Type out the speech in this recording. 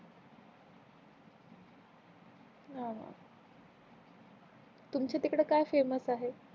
न तुमची तिकड का फेमस आहे